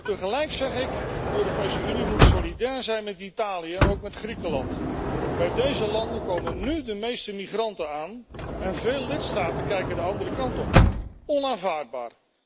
Tegelijk zeg ik de Europese Unie moet solidair zijn met Italië en ook met Griekenland. Bij deze landen komen nu de meeste migranten aan en veel lidstaten kijken de andere kant op. Onaanvaardbaar!